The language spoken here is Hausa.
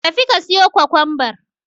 Tafi ka siyo Kwakwanbar.